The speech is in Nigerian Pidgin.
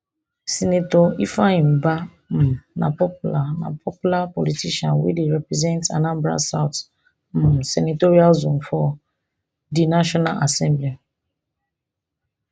senator ifeanyi ubah um na popular na popular politician wey dey represent anambra south um senatorial zone for di national assembly